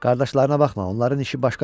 Qardaşlarına baxma, onların işi başqa cürdür.